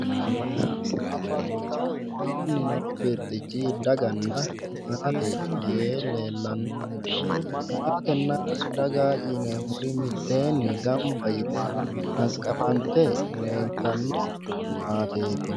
Woroonni noo birxichi daganna maate yee leellanno maatenna daga yineemmori mitteenni gamba yite hanqafante leeltanno maateeti